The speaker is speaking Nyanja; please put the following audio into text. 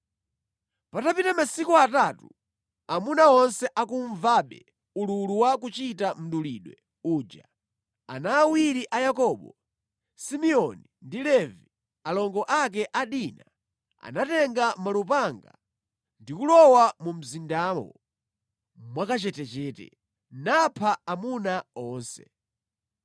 Patapita masiku atatu, amuna onse akumvabe ululu wa kuchita mdulidwe uja, ana awiri a Yakobo, Simeoni ndi Levi, alongo ake a Dina, anatenga malupanga ndi kulowa mu mzindawo mwakachetechete napha amuna onse.